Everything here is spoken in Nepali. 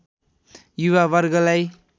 युवा वर्गलाई